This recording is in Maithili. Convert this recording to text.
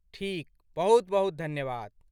ठीक! बहुत बहुत धन्यवाद।